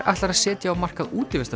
ætlar að setja á markað